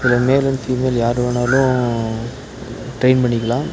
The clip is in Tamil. இதுல மேல் அண்டு ஃபீமேல் யார் வேணாலு ட்ரைன் பண்ணிக்கலாம்.